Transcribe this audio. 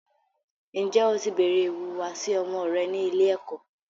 Ǹjẹ́ o ti béèrè ìwùwàsí ọmọ rẹ ní ilé-ẹ̀kọ́.